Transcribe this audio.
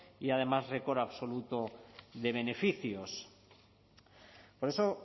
y además récord absoluto de beneficios por eso